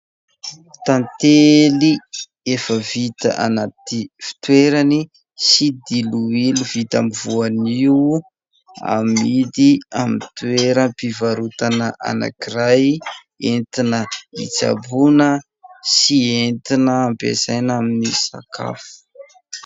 Tantely efa vita anaty fitoerany sy diloilo vita amin'ny voanio, amidy amin'ny toeram-pivarotana anankiray, entina hitsaboana sy entina ampiasaina amin'ny sakafo.